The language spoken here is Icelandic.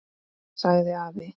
sagði afi.